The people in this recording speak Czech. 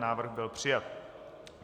Návrh byl přijat.